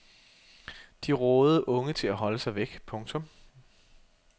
De rådede unge til at holde sig væk. punktum